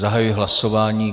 Zahajuji hlasování.